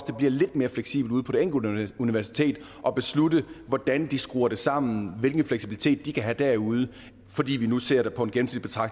det bliver lidt mere fleksibelt ude på det enkelte universitet at beslutte hvordan de skruer det sammen hvilken fleksibilitet de kan have derude fordi vi nu ser på